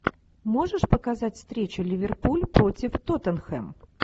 можешь показать встречу ливерпуль против тоттенхэм